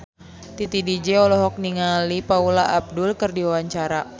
Titi DJ olohok ningali Paula Abdul keur diwawancara